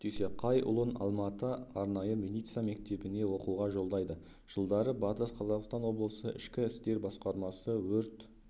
дүйсеқайұлын алма-ата арнайы милиция мектебіне оқуға жолдайды жылдары батыс қазақстан облысы ішкі істер басқармасы өрт